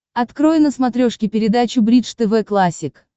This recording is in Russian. открой на смотрешке передачу бридж тв классик